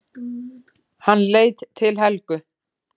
Hann leit til Helgu.